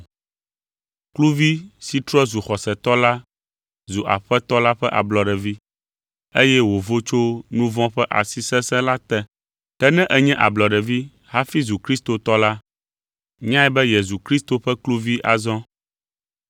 Kluvi si trɔ zu xɔsetɔ la zu Aƒetɔ la ƒe ablɔɖevi, eye wòvo tso nu vɔ̃ ƒe asi sesẽ la te. Ke ne ènye ablɔɖevi hafi zu kristotɔ la, nyae be yezu Kristo ƒe kluvi azɔ.